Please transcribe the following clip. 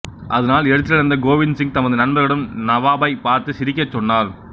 அதனால் எரிச்சலடைந்த கோவிந்த் சிங் தமது நண்பர்களிடம் நவாபைப் பார்த்து சிரிக்கச் சொன்னார்